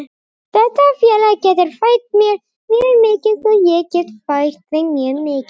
Þetta félag getur fært mér mjög mikið og ég get fært þeim mjög mikið.